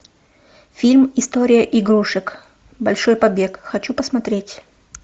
фильм история игрушек большой побег хочу посмотреть